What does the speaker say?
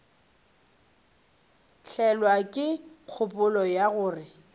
tlelwa ke kgopolo ya gore